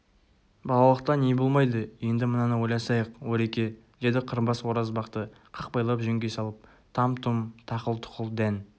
балалықта не болмайды енді мынаны ойласайық ореке деді қырбас оразбақты қақпайлап жөнге салып там-тұм тақыл-тұқыл дән